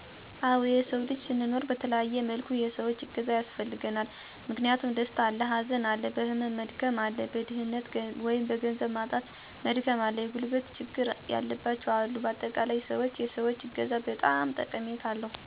አወ የሰዉ ልጅ ስንኖር በተለያየ መልኩ የሰዎች እገዛ ያስፈልገናል። ምክንያቱም፦ ደስታ አለ፣ ሀዘን አለ፣ በህመም መድከም አለ፣ በድህነት(ገንዘብ) በማጣት መድከም አለ፣ የጉልበት ችግር ያለባቸዉ አሉ በአጠቃላይ, ሰዎች የሰዎች እገዛ በጣም ጠቀሜታ አለዉ። እኔ ለምሳሌ፦ ገንዘብ እያላቸዉ የጉልበት ችግረኛ የሆኑ ሰወችን (ልጅ ወልደዉ እረዳት ሲያሻቸዉ ችግራቸዉን በመረዳት አግዣለሁ)።ሌላም, በጭንቀት ዉስጥ ሆነዉ በሀዘን የተሞሉትን ሰዎች የምችለዉን የተስፋ ቃል(የሚያረጋጉ ቃላትን በመናገር በማረጋጋት ረድቻለሁ)።